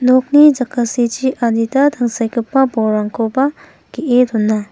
nokni jakasichi adita tangsekgipa bolrangkoba ge·e dona.